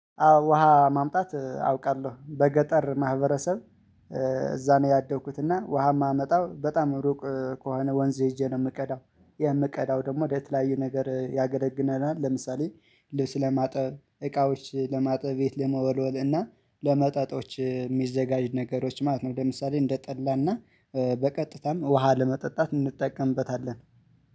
አዎ ውሃ ማምጣት አውቃለሁ በገጠር ማህበረሰብ እዛ ነው ያደግኩት እና ውሃ የማመጣው በጣም ሩቅ ከሆነ ወንዝ ሄጄ ነው የምቀዳው። የምቀዳው ደግሞ የተለያዩ ነገር ያገለግለናል። ለምሳሌ ልብስ ለማጠብ እቃዎች ለማጠብ ቤት ለመወልወል እና ለመጠጦች የሚዘጋጅ ነገሮች ማለት ነው። ለምሳሌ እንደጠላና በቀጥታም ውሃ ለመጠጣት እንጠቀምበታለን